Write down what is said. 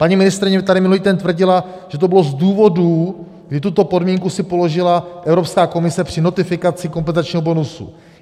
Paní ministryně tady minulý týden tvrdila, že to bylo z důvodu, kdy tuto podmínku si položila Evropská komise při notifikaci kompenzačního bonusu.